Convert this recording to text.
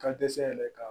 Ka dɛsɛ yɛrɛ ka